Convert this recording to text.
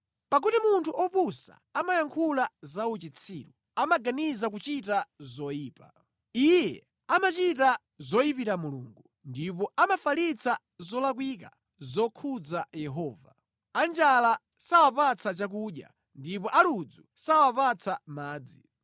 Pakuti munthu opusa amayankhula zauchitsiru, amaganiza kuchita zoyipa: Iye amachita zoyipira Mulungu, ndipo amafalitsa zolakwika zokhudza Yehova; anjala sawapatsa chakudya ndipo aludzu sawapatsa madzi.